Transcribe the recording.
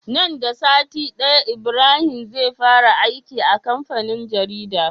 Nan da sati daya Ibrahim zai fara aiki a kamfanin jarida